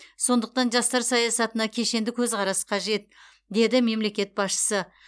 сондықтан жастар саясатына кешенді көзқарас қажет деді мемлекет басшысы